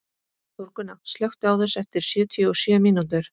Þórgunna, slökktu á þessu eftir sjötíu og sjö mínútur.